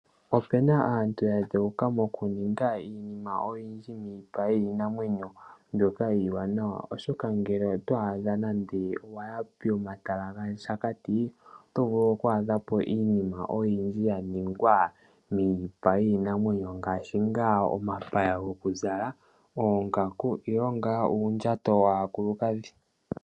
Opu na aantu oyendji mboka yadheuka mokuninga iinima oyindji miipa yiinamwenyo mbyoka iiwanawa. Ngele owa yi nande omomatala gaShakati oto vulu oku adhamo iinima oyindji yaningwa miipa yiinamwenyo ngaashi omapaya gokuzala, oongaku nuundjato waakulukadhi.